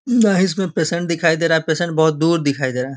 वह इसमें पेशेंट दिखाई दे रहा है पेशेंट बहुत-दूर दिखाई दे रहा हैं।